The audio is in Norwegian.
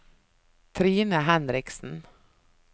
Trine Henriksen